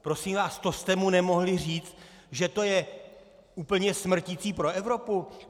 Prosím vás, to jste mu nemohli říct, že to je úplně smrtící pro Evropu?